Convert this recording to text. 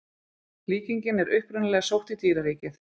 Líkingin er upprunalega sótt í dýraríkið.